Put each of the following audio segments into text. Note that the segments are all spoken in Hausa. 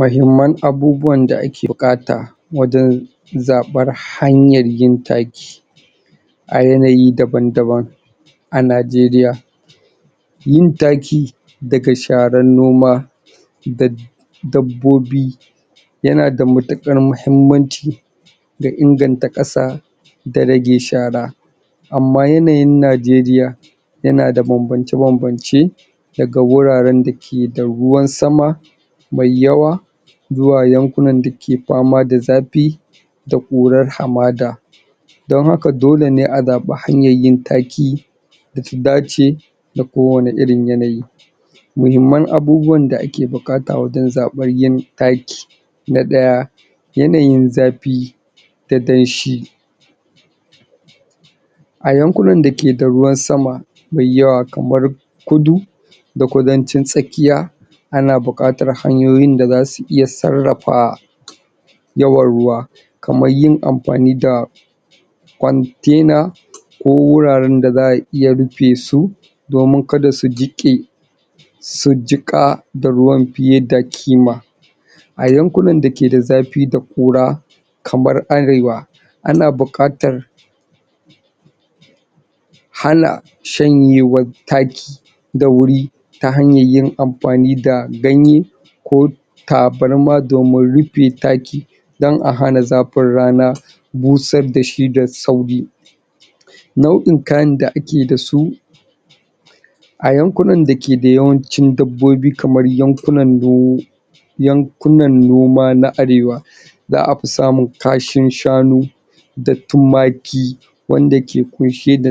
mahimman abubuwan da ake buƙata wajen zaɓar hanyar yin taki a yanayi daban daban a Najeria yin taki daga sharan noma dab dabbobi yanada matuƙar muhimmanci da inganta ƙasa da rage shara ammayanayn Nigeria yanada bambance-bambance daga wuraren dakeda ruwan sama mai yawa zuwa yankunan dake fama da zafi da ƙurar hamada don hakadolene a zaɓi hanyar yin taki data dace da kowanne irin yanayi mihimman abubuwan da ake buƙata wajen zaɓar yin taki na ɗaya yanayin zafi da danshi a yankunan dakeda ruwan sama mai yawa kamar kudu da kudancin tsakiya ana buƙatar hanyoyin da zasu iya sarrafa yawan ruwa kamar`1 yin amfani da container ko wuraren da za'a iya rufesu domin kada su jiƙe su jiƙa da ruwan fiye da ƙima a yankunan da keda zafi da ƙura kamar arewa ana buƙatar hana shanyewar taki da wuri ta hanyar yin amfani da ganye ko tabarma domin rufe taki don a hana zafin rana bushad dashi da sauri nau'in kayan da ake dasu a yankunan dakeda yawancin dabbobi kamar yankunan yankuna noma na arewa za'a fi samun kashin shanu da tumaki wanda ke ƙunshe da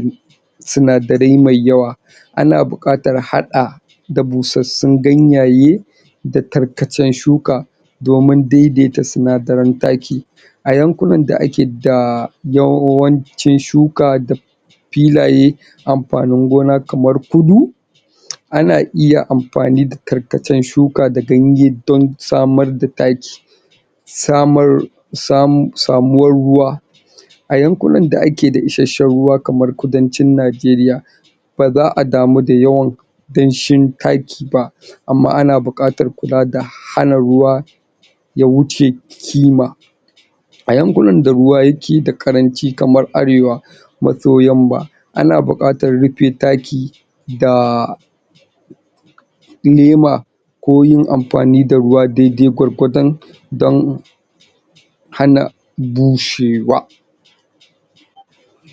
sinadarai mai yawa ana buƙatar haɗa da busassun ganyaye da tarkacen shuka domin daidaita sinadaren taki a yankunan da akeda yawancin shuka da filaye amafanin gona kamar kudu ana iya amfani da tarkacen shuka da ganye don samar da taki samar samuwar ruwa a yankunan da akeda isashen ruwa kamar kudancin Nigeria ba za'a damu da yawan danshin taki ba amma ana buƙatar kula da hana ruwa ya wuce kima a yankunan da ruwa yakeda ƙaranci kamar arewa maso yamma ana buƙatar rufe taki da nema ko yin amfani da ruwa daidai gwargwadon don hana bushewa